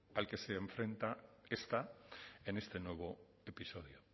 al que se enfrenta esta en este nuevo episodio